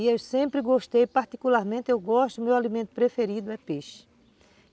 E eu sempre gostei, particularmente, eu gosto, o meu alimento preferido é peixe.